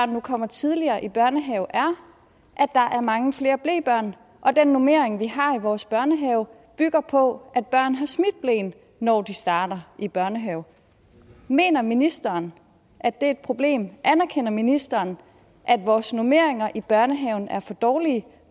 nu kommer tidligere i børnehave er at der er mange flere blebørn og at den normering vi har i vores børnehaver bygger på at børn har smidt bleen når de starter i børnehave mener ministeren at det er et problem anerkender ministeren at vores normeringer i børnehaven er for dårlige